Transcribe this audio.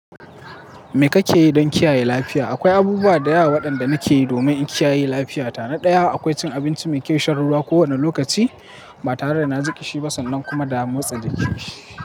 Me kake yi don kiyaye lafiya? Akwai abubuwa da yawa waɗanda nake yi domin in kiyaye lafiyata. Na daya, akwai cin abinci mai kishiyar ruwa kowane lokaci ba tare da na ji kishi ba sannan kuma da motsa jiki.